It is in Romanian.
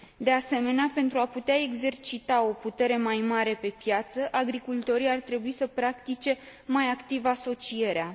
De asemenea, pentru a putea exercita o putere mai mare pe piață, agricultorii ar trebui să practice mai activ asocierea.